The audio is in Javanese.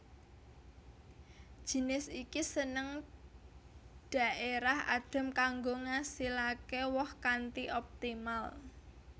Jinis iki seneng dhaérah adhem kanggo ngasilake woh kanthi optimal